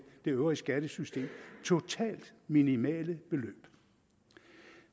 det øvrige skattesystem totalt minimale beløb